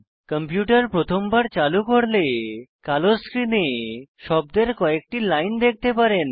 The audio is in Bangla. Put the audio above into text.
কম্পিউটার প্রথমবার চালু করলে কালো স্ক্রীনে শব্দের কয়েকটি লাইন দেখতে পারেন